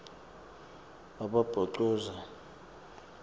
wakabhocoza